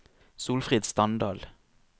Solfrid Standal